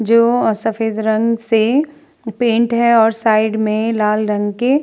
जो सफेद रंग से पेंट है और साइड में लाल रंग के --